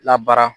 Labaara